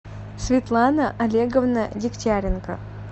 светлана олеговна дегтяренко